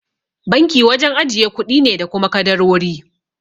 Banki wajen ajiye kuɗi ne da kuma kadarori.